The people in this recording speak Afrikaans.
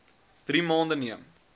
drie maande neem